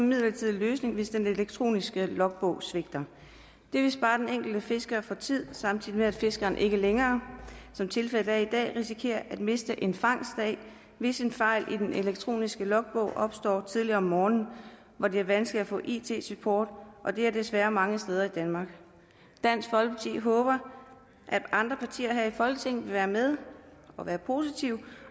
midlertidig løsning hvis den elektroniske logbog svigter det vil spare den enkelte fisker for tid samtidig med at fiskeren ikke længere som tilfældet er i dag risikerer at miste en fangstdag hvis en fejl i den elektroniske logbog opstår tidligt om morgenen hvor det er vanskeligt at få it support og det er det desværre mange steder i danmark dansk folkeparti håber at andre partier her i folketinget vil være med og være positive